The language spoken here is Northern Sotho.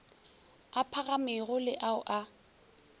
a phagamego le ao a